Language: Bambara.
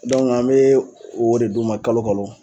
an be o de d'u ma kalo kalo